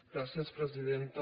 gràcies presidenta